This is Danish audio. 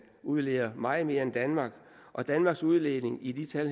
udleder meget mere end danmark og danmarks udledning i tal